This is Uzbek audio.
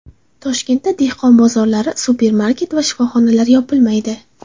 Toshkentda dehqon bozorlari, supermarket va shifoxonalar yopilmaydi.